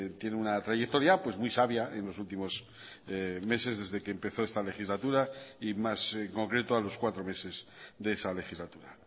tiene una trayectoria pues muy sabia en los últimos meses desde que empezó esta legislatura y más en concreto a los cuatro meses de esa legislatura